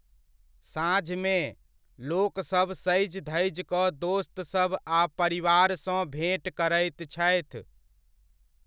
साँझमे, लोकसभ सजि धजि कऽ दोस्तसब आ परिवारसँ भेँट करैत छथि।